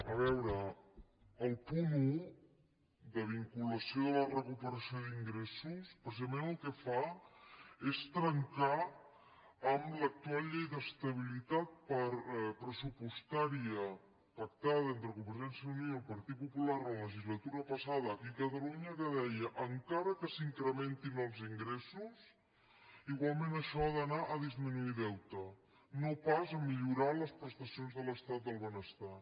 a veure el punt un de vinculació de la recuperació d’ingressos precisament el que fa és trencar amb l’actual llei d’estabilitat pressupostària pactada entre convergència i unió i el partit popular la legislatura passada aquí a catalunya que deia en·cara que s’incrementin els ingressos igualment això ha d’anar a disminuir deute no pas a millorar les pres·tacions de l’estat del benestar